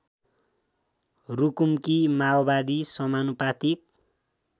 रुकुमकी माओवादी समानुपातिक